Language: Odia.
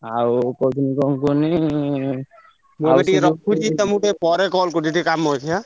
ଆଉ କହୁଥିନି କଣ କୁହନୀ ମୁଁ ଏବେ ଟିକେ ରଖୁଛି ତମକୁ ଟିକେ ପରେ call କରୁଛି ଟିକେ କାମ ଅଛି ଆଁ।